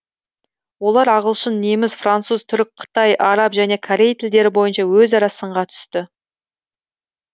олар ағылшын неміс француз түрік қытай араб және корей тілдері бойынша өзара сынға түсті